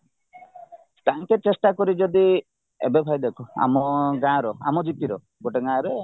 ତାଙ୍କେ ଚେଷ୍ଟା କରି ଯଦି ଏବେ ଭାଇ ଦେଖ ଆମ ଗାଁ ର ଆମ gp ର ଗୋଟେ ଗାଁ ରେ